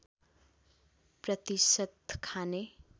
प्रतिशत खाने